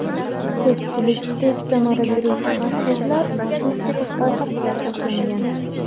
Ko‘pchilik tez samara beruvchi parhezlar shu oziq-ovqatga asoslangan.